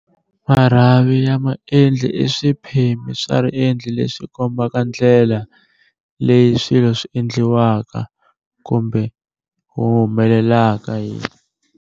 Marhavi ya maendli i swiphemi swa riendli leswi kombaka ndlela leyi swilo swi endliwaka kumbe humelelaka hi.